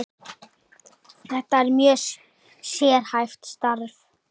Þetta er mjög sérhæft starf.